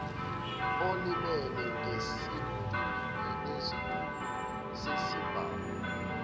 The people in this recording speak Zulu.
olimele ngesidunu sesibhamu